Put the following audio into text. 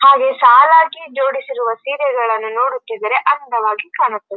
ಹಾಗೆ ಸಾಲಾಗಿ ಜೋಡಿಸಿರುವ ಸೀರೆಗಳನ್ನು ನೋಡುತಿದ್ದರೆ ಅಂಡವಾಗಿ ಕಾಣುತ್ತಿದೆ.